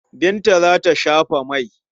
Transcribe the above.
Binta za ta shafa mai.